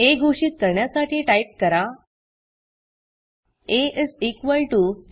आ घोषित करण्यासाठी टाईप करा आ